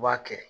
U b'a kɛ